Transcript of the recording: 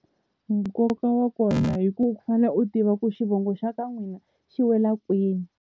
Nkoka wa kona hi ku u fanele u tiva ku xivongo xa ka n'wina xi wela kwini.